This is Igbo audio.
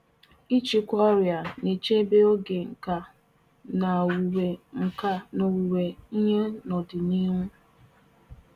Ọbughi naanị oge owuwe ihe ubi ihe ubi nke a ka ibuso ọrịa agha na echekwa ma owuwe ihe ubi ndị nke ka dị n'ihu.